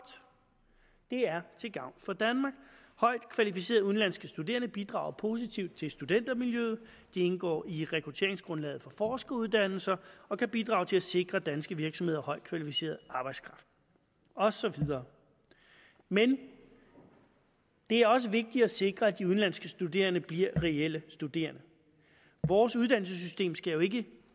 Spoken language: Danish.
det er til gavn for danmark højt kvalificerede udenlandske studerende bidrager positivt til studentermiljøet det indgår i rekrutteringsgrundlaget for forskeruddannelser og kan bidrage til at sikre danske virksomheder højt kvalificeret arbejdskraft og så videre men det er også vigtigt at sikre at de udenlandske studerende bliver reelle studerende vores uddannelsessystem skal jo ikke